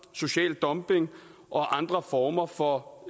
social dumping og andre former for